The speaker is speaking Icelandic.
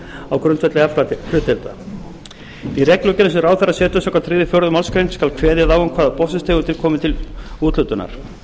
á grundvelli aflahlutdeilda í reglugerðum sem ráðherra setur samkvæmt þriðju og fjórðu málsgrein skal kveðið á um hvaða botnfiskstegundir komi til úthlutunar